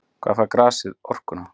Hvaðan fær grasið orkuna?